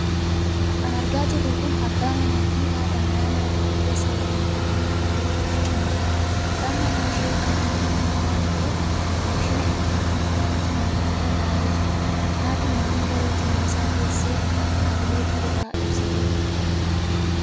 Kan argaa jirru kun abbaa manaa fi haadha manaa mana tokko keessa waliin taa'anii mariirra jiranidha. Abbaan manaan ishee qaama miidhamaa waan ta'eef maashina ittiin konkolaachifamurra taa'ee jira. Haati manaan garuu cina isaa teessee taabileetii irraa ibsitiif.